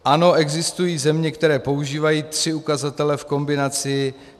Ano, existují země, které používají tři ukazatele v kombinaci.